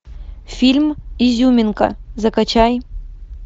фильм изюминка закачай